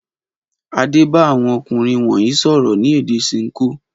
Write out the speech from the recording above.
Adé bá àwọn ọkùnrin wọ̀nyí sọ̀rọ̀ ní èdè Ṣinkó?